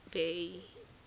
bay